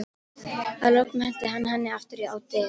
Að lokum henti hann henni aftur á dyr.